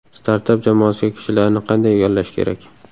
Startap jamoasiga kishilarni qanday yollash kerak?.